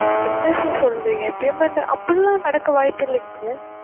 என்ன sir சொல்றீங்க payment அப்படி எல்லாம் நடக்க வாய்ப்பு இல்லைங்க sir